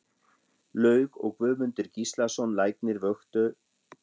Laug og Guðmundur Gíslason læknir vöktu